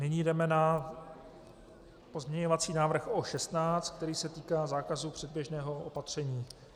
Nyní jdeme na pozměňovací návrh O16, který se týká zákazu předběžného opatření.